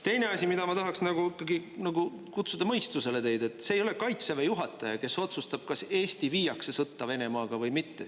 Teine asi, ma tahaksin nagu ikkagi kutsuda mõistusele teid, et see ei ole Kaitseväe juhataja, kes otsustab, kas Eesti viiakse sõtta Venemaaga või mitte.